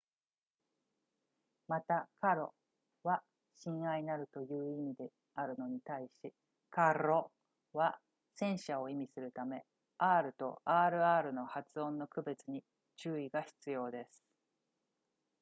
また caro は親愛なるという意味であるのに対し carro は戦車を意味するため r と rr の発音の区別に注意が必要です